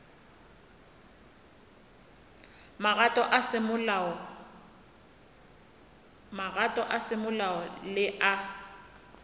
magato a semolao le a